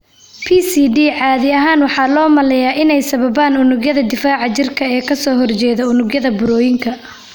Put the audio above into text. PCD caadi ahaan waxaa loo maleynayaa inay sababaan unugyada difaaca jirka ee ka soo horjeeda unugyada burooyinka.